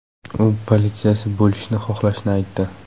U politsiyachi bo‘lishni xohlashini aytdi.